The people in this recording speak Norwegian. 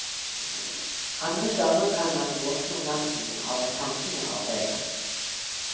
Andre ganger kan man våkne om natten av at tankene arbeider.